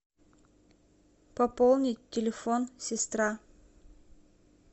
пополнить телефон сестра